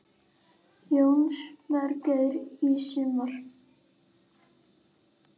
Jónas Margeir: Í sumar?